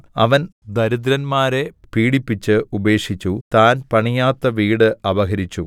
അവൻ ദരിദ്രന്മാരെ പീഡിപ്പിച്ച് ഉപേക്ഷിച്ചു താൻ പണിയാത്ത വീട് അപഹരിച്ചു